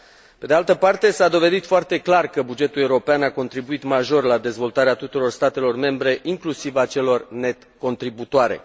Pe de altă parte, s a dovedit foarte clar că bugetul european a contribuit major la dezvoltarea tuturor statelor membre, inclusiv a celor net contributorii.